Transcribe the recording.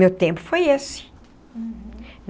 Meu tempo foi esse. Uhum.